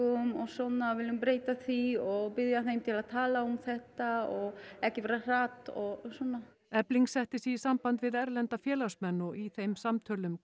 og svona við viljum breyta því og biðja þau að tala um þetta og ekki vera hrædd og svona efling setti sig í samband við erlenda félagsmenn og í þeim samtölum